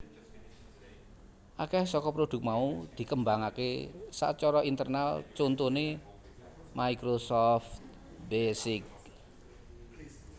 Akèh saka prodhuk mau dikembangaké sacara internal contoné Microsoft Basic